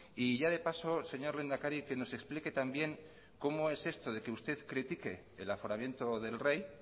y ya de paso señor lehendakari que nos explique también cómo es esto de que usted critique el aforamiento del rey